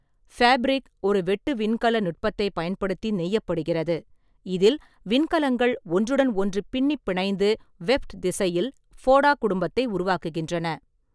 Fabric ஒரு 'வெட்டு விண்கல நுட்பத்தைப்' பயன்படுத்தி நெய்யப்படுகிறது, இதில் விண்கலங்கள் ஒன்றுடன் ஒன்று பின்னிப் பிணைந்து வெஃப்ட் திசையில் ஃபோடா கும்பத்தை உருவாக்குகின்றன.